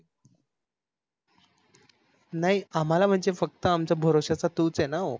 नाही आम्हाला म्हणजे फक्त आमच्या भरोश्याच तूच आहे न हो.